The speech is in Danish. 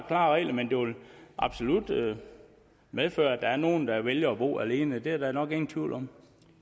klare regler men det vil absolut medføre at der er nogle der vælger at bo alene det er der nok ingen tvivl om